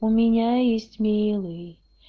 у меня есть милый